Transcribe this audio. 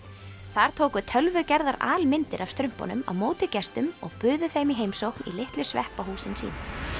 þar tóku tölvugerðar af strumpunum á móti gestum og buðu þeim í heimsókn í litlu sveppahúsin sín